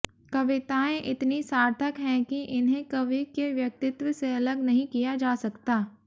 कविताएं इतनी सार्थक हैं कि इन्हें कवि के व्यक्तित्व से अलग नहीं किया जा सकता